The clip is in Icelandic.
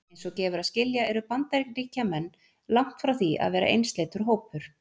Eins og gefur að skilja eru Bandaríkjamenn langt frá því að vera einsleitur hópur.